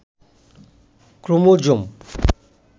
chromosome